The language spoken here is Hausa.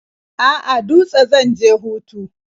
A'a, Dutse zan je hutu.